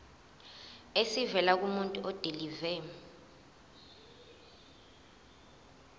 esivela kumuntu odilive